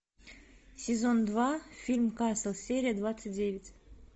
сезон два фильм касл серия двадцать девять